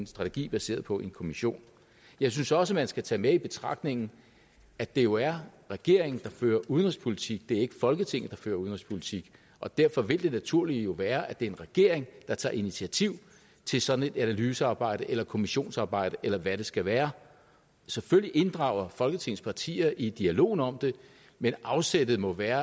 strategi baseret på et kommissionsarbejde jeg synes også at man skal tage med i betragtningerne at det jo er regeringen der fører udenrigspolitik det er ikke folketinget der fører udenrigspolitik derfor vil det naturlige jo være at det er en regering der tager initiativ til sådan et analysearbejde eller kommissionsarbejde eller hvad det skal være selvfølgelig inddrager folketingets partier i dialogen om det men afsættet må være